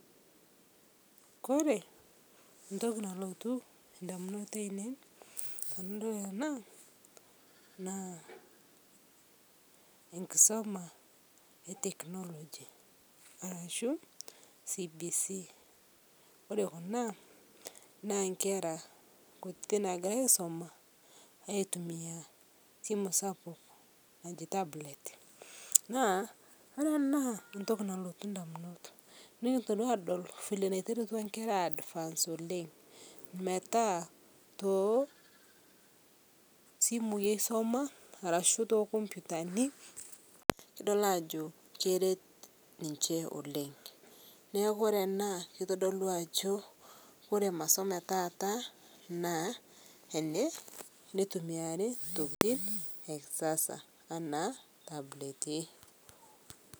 Kore ntoki nalotu ndamunot ainen tanadol anaa naa enkisoma eteknologi arashu cbc kore kuna naa nkera kutii nagira aisoma aitumia simu sapuk najii tablet, naa ore anaa ntoki nalotu ndamunot nikintoki adol vile neiterutua nkera ai advance oleng' metaa tosimui eisoma ashu tokompitani kidol ajo keret ninshe oleng' neaku kore ana keitodoluu ajoo kore masomo etaata naa eneitumiari ntokitin ekisasa ana tabletii.